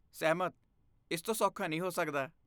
ਸਹਿਮਤ! ਇਸ ਤੋਂ ਸੌਖਾ ਨਹੀਂ ਹੋ ਸਕਦਾ।